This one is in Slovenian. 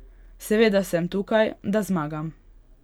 Seveda sem tukaj, da zmagam.